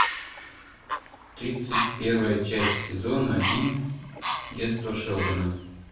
тридцать первая часть сезона один детство шелдона